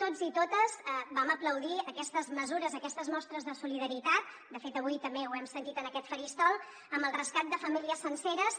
tots i totes vam aplaudir aquestes mesures aquestes mostres de solidaritat de fet avui també ho hem sentit en aquest faristol amb el rescat de famílies senceres